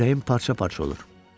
Ürəyim parça-parça oldu.